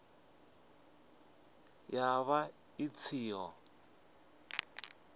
ya vha i ṱshi ḓo